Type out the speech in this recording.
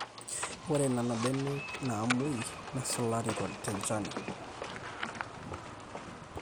ore nena mbenek naamwei nesulari tenchani